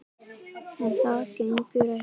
En það gengur ekki.